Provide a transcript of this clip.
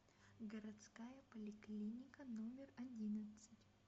городская поликлиника номер одиннадцать